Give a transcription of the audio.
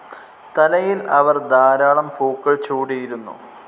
തലയിൽ അവർ ധാരാളം പൂക്കൾ ചൂടിയിരുന്നു.